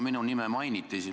Minu nime mainiti.